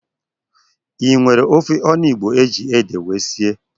I nwere ofe onugbo ejiri édè wee sie?